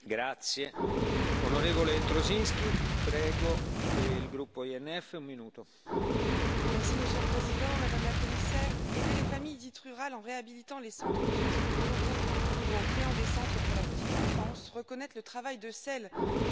Monsieur le Président, Madame la Commissaire, aider les familles dites rurales en réhabilitant les centres de soins locaux ou en créant des centres pour la petite enfance, reconnaître le travail de ceux que vous appelez les aidants, éviter la discrimination à l'emploi lorsqu'une mère ou un père a fait le choix de servir sa famille sont de bonnes propositions.